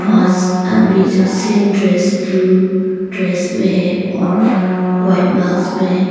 आदमी जो same dress blue dress में है और वाइट मास्क में है।